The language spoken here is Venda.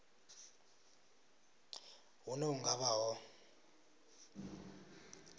hune hu nga vha ho